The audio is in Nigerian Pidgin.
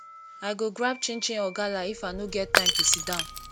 i go grab chinchin or gala if i no get time to sit down